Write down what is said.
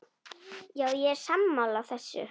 Já, ég er sammála þessu.